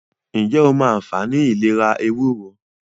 ǹjẹ́ o mọ anfààní ìlera “ ewúro ”.?